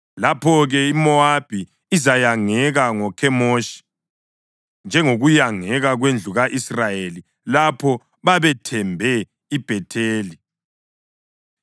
Lapho-ke iMowabi izayangeka ngoKhemoshi njengokuyangeka kwendlu ka-Israyeli lapho babethembe iBhetheli.